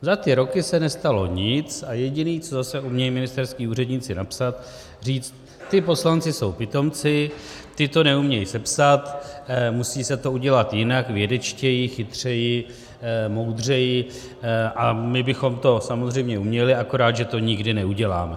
Za ty roky se nestalo nic a jediné, co zase umějí ministerští úředníci napsat, říct: ti poslanci jsou pitomci, ti to neumějí sepsat, musí se to udělat jinak, vědečtěji, chytřeji, moudřeji, a my bychom to samozřejmě uměli, akorát že to nikdy neuděláme.